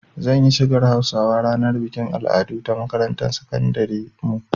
Zan yi shigar Hausawa a ranar bikin al'adu ta makarantar sakandiren mu